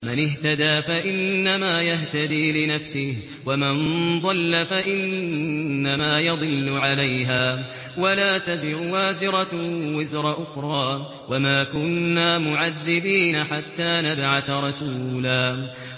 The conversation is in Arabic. مَّنِ اهْتَدَىٰ فَإِنَّمَا يَهْتَدِي لِنَفْسِهِ ۖ وَمَن ضَلَّ فَإِنَّمَا يَضِلُّ عَلَيْهَا ۚ وَلَا تَزِرُ وَازِرَةٌ وِزْرَ أُخْرَىٰ ۗ وَمَا كُنَّا مُعَذِّبِينَ حَتَّىٰ نَبْعَثَ رَسُولًا